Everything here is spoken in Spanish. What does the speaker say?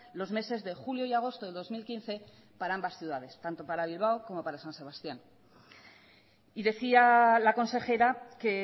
los meses de julio y agosto de dos mil quince para ambas ciudades tanto para bilbao como para san sebastián y decía la consejera que